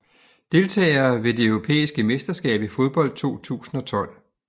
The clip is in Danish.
Deltagere ved det europæiske mesterskab i fodbold 2012